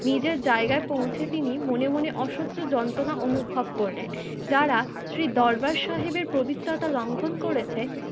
নিজের জায়গায় পৌঁছে তিনি মনে মনে অসহ্য যন্ত্রনা অনুভব করলেন। যারা শ্রী দরবার সাহেবের পবিত্রতাকে লঙ্ঘন করেছে